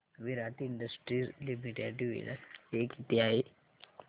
विराट industries limited dividend pay किती आहे